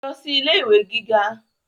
lọ sí ilé ìwé gíga